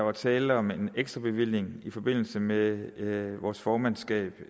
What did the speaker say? var tale om en ekstra bevilling i forbindelse med vores formandskab